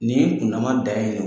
Nin kundama dan y do